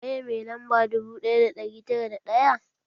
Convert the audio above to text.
Waye mai lamba dubu ɗaya da ɗari tara da ɗaya?